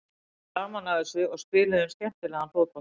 Við höfðum gaman af þessu og spiluðum skemmtilegan fótbolta.